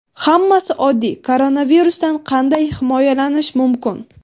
Hammasi oddiy: koronavirusdan qanday himoyalanish mumkin?.